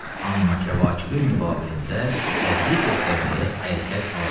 amma kəvakibin müqabilində tədbir göstərməyə əlhəqq acizəm.